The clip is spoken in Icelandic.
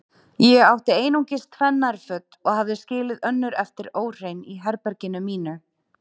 Ég átti einungis tvenn nærföt og hafði skilið önnur eftir óhrein í herberginu mínu.